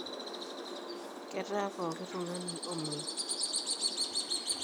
Ketaa pokitungani omwoi.